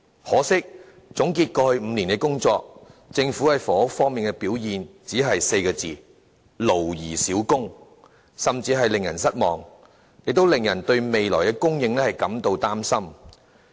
可惜，總結政府過去5年的工作，其在房屋事務方面的表現，只能說是"勞而少功"，甚至是令人失望，亦令人對未來房屋的供應感到擔心。